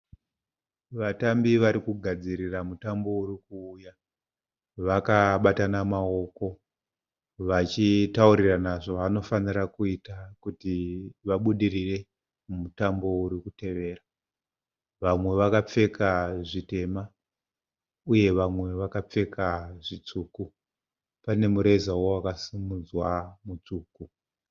Vatambi varikugadzirira mutambo urikuuya. Vakabatana maoko. Vachitauririna zvavanofanira kuita kuti vabudirire mumutambo urikutevera. Vamwe vakapfeka zvitema, uye vamwe vakapfeka zvitsvuku. Pane murezawo wakasimudzwa mutsvuku.